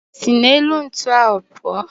Si n'elu ntu ahu puo.